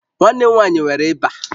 Nwanne m nwanyị nwere ịba